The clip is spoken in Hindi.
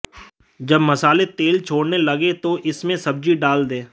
जब मसाले तेल छोड़ने लगें तो इसमें सब्जी डाल दें